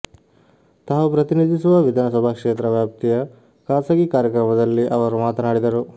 ತಾವು ಪ್ರತಿನಿಧಿಸುವ ವಿಧಾನಸಭಾ ಕ್ಷೇತ್ರ ವ್ಯಾಪ್ತಿಯ ಖಾಸಗಿ ಕಾರ್ಯಕ್ರಮದಲ್ಲಿ ಅವರು ಮಾತನಾಡಿದರು